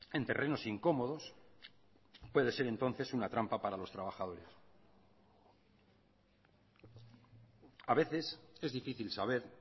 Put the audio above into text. en terrenos incómodos puede ser entonces una trampa para los trabajadores a veces es difícil saber